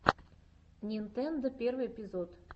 нинтендо первый эпизод